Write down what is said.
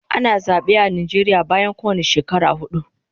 Ana zabe a Nijeria bayan kowane shekara hudu